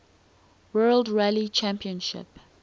world rally championship